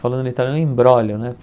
Falando em italiano, um embrólio, né?